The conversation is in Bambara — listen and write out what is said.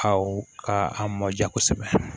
Aw ka a mɔ ja kosɛbɛ